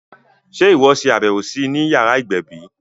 Sé o ṣe àbẹwò sí I ni yàrá ìgbẹ̀bí?